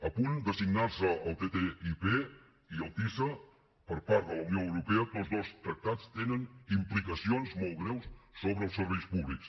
a punt de signar se el ttip i el tisa per part de la unió europea tots dos tractats tenen implicacions molt greus sobre els serveis públics